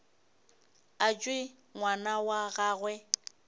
a tšwe ngwana wa gagwe